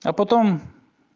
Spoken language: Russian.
а потом